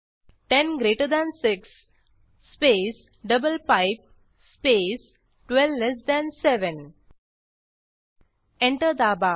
10 greater than 6 space double pipe space 12 less than 7 enter दाबा